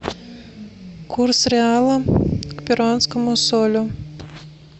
курс реала к перуанскому солю